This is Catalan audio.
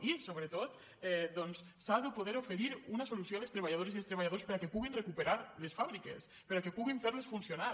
i sobretot s’ha de poder oferir una solució a les treballadores i als treballadors perquè puguin recuperar les fàbriques perquè puguin fer les funcionar